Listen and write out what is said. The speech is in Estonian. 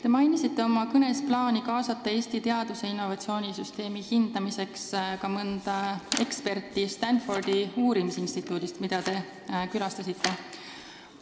Te mainisite oma kõnes plaani kaasata Eesti teadus- ja innovatsioonisüsteemi hindamiseks ka mõne eksperdi Stanfordi uurimisinstituudist, mida te külastasite.